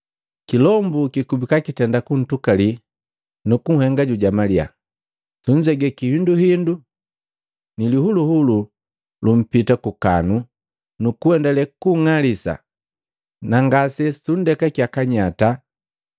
Kilombu kikuba kitenda kuntukali nukunhenga jujamalia, sunzege kihindu hindu, ni lihuluhulu lumpita kukanu nukuendale kunng'alisa na ngase sundekakeye kanyata!